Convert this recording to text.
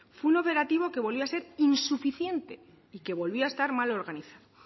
fue un operativo que volvió a ser insuficiente y que volvía a estar mal organizado